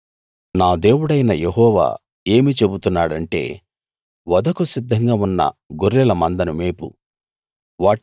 నా దేవుడైన యెహోవా ఏమి చెబుతున్నాడంటే వధకు సిద్ధంగా ఉన్న గొర్రెల మందను మేపు